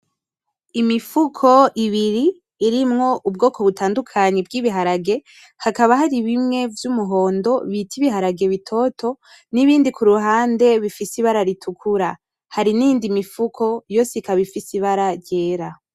Imifuko ibiri irimwo ubwoko butandukanye bw’ibiharage, hakaba hari bimwe vy’umuhondo bita ibiharage bitoto, n’ibindi ku ruhande bifise ibara ritukura. Hari n’indi mifuko yose ikaba ifise ibara ryera.